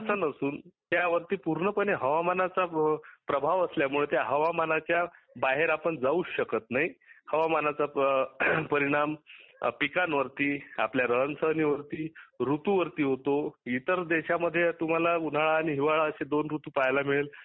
असे नसून हवामानाचा परिणाम आहे. हवामानाच्या बाहेर जाऊ शकत नाही हवामानाचा परिणाम पिकांवरीत आपल्या रहनसन वरती ऋृतू वरती होतो इतर देशामध्ये तुम्हाला उन्हा आणि हिवाळा असे दोन ऋृतू पहायला मिळेल